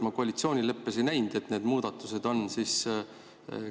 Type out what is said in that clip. Ma koalitsioonileppes ei näinud, et need muudatused oleks.